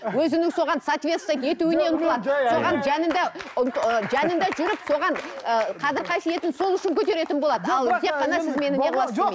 өзінің соған соответствовать етуіне ұмтылады соған жанында жанында жүріп соған ыыы қадір қасиетін сол үшін көтеретін болады ал тек қана